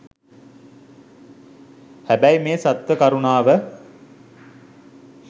හැබැයි මේ සත්ව කරුණාව